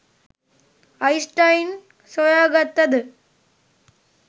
Einstein සොයාගත්තද